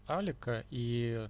алика и